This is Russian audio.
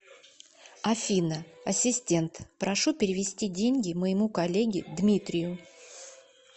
афина ассистент прошу перевести деньги моему коллеге дмитрию